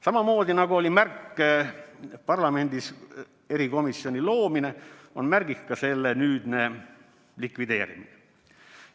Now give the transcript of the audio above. " Samamoodi nagu oli märk parlamendis erikomisjoni loomine, on märk ka selle nüüdne likvideerimine.